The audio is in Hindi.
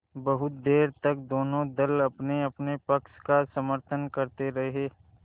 बहुत देर तक दोनों दल अपनेअपने पक्ष का समर्थन करते रहे